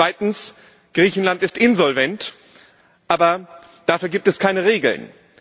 Zweitens Griechenland ist insolvent, aber dafür gibt es keine Regeln.